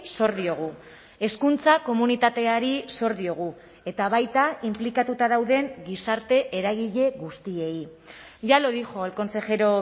sor diogu hezkuntza komunitateari sor diogu eta baita inplikatuta dauden gizarte eragile guztiei ya lo dijo el consejero